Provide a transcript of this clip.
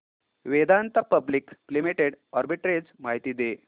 Vedanta public limited arbitrage माहिती दे